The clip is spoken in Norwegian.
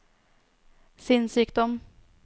sinnssykdom